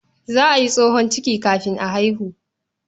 Za a yi tsohon ciki kafin a haihu.